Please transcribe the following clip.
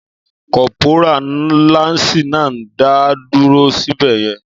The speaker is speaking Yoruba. Kọ́pórà láǹsì náà ń dá dúró sí bẹ̀yẹn